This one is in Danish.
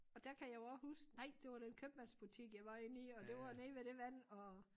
Og der kan jeg jo også huske nej det var den købmandsbutik jeg var inden i og det var nede ved det vand og